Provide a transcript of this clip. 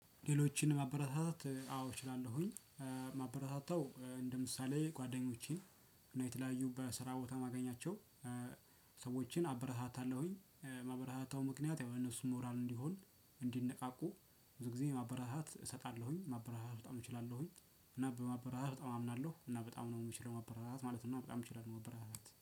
ሌሎችን ማበረታታት አዎ እችላለሁኝ። ማበረታታው እንደ ምሳሌ ጓደኞቼን። እና የተለያዩ በስራ ቦታ የማገኛቸው። ሰዎችን አበረታታለሁኝ። ማበረታታው ምክንያት ያው ለእነሱ ሞራል እንዲሆን እንዲነቃቁ። ብዙ ጊዜ ማበረታት እሰጣለሁኝ ማበረታት በጣም እችላለሁኝ። እና በማበረታት በጣም አምናለሁ እና በጣም ነው የምችለው። ማበረታታት ማለት እና በጣም እችላለሁ ማበረታታት